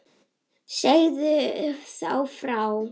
Segðu þá frá.